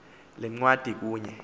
le ncwadi kunye